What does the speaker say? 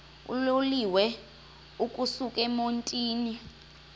uloliwe ukusuk emontini